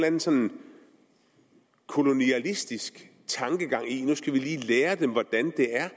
anden sådan kolonialistisk tankegang i at nu skal vi lige lære dem hvordan det er